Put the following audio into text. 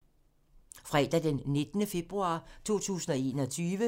Fredag d. 19. februar 2021